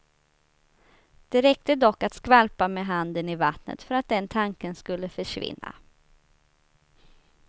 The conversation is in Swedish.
Det räckte dock att skvalpa med handen i vattnet för att den tanken skulle försvinna.